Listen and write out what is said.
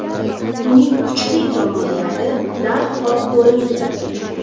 Uning kuchli tomonlari darhol ko‘ringandi.